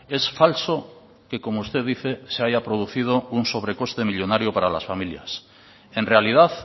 es falso que como usted dice se haya producido un sobrecoste millónario para las familias en realidad